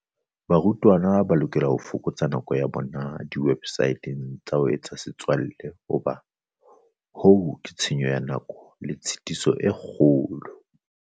Barutwana ba lokela ho fokotsa nako ya bona diwebsateng tsa ho etsa setswalle hobane hoo ke tshenyo ya nako le tshitiso e kgolo.